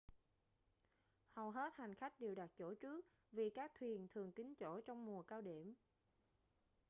hầu hết hành khách đều đặt chỗ trước vì các thuyền thường kín chỗ trong mùa cao điểm